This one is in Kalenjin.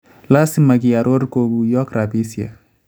Laasima kiaroor kokuuyook rabisiek